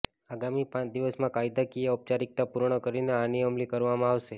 આગામી પાંચ દિવસમાં કાયદાકીય ઔપચારિકતા પૂર્ણ કરીને આને અમલી કરવામાં આવશે